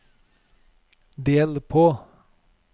del på